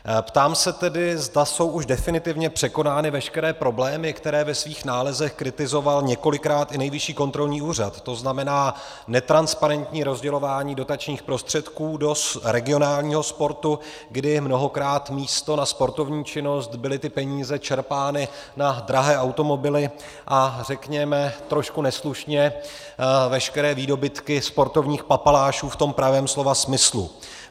Ptám se tedy, zda jsou už definitivně překonány veškeré problémy, které ve svých nálezech kritizoval několikrát i Nejvyšší kontrolní úřad, to znamená netransparentní rozdělování dotačních prostředků do regionálního sportu, kdy mnohokrát místo na sportovní činnost byly ty peníze čerpány na drahé automobily a řekněme trošku neslušně veškeré výdobytky sportovních papalášů v tom pravém slova smyslu.